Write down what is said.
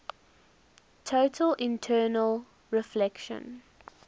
total internal reflection